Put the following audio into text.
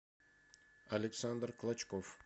александр клочков